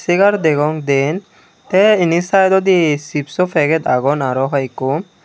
segar degong diyen te aro inni saidodi chipso paget agon aro hoyekko.